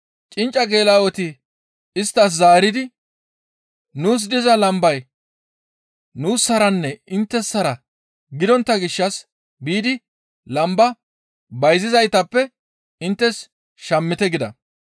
«Cincca geela7oti isttas zaaridi, ‹Nuus diza lambay nuussaranne inttessara gidontta gishshas biidi lamba bayzizaytappe inttes shammite› gida.